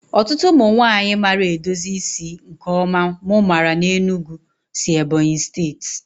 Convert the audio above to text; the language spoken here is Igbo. Ọtụtụ ụmụ nwanyị maara edozi isi nke ọma mụ maara n'Enugu si Ebonyi steeti